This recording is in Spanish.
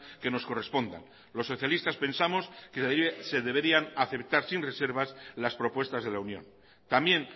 que nos correspondan los socialistas pensamos que se deberían aceptar sin reservas las propuestas de la unión también